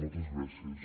moltes gràcies